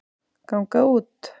ganga út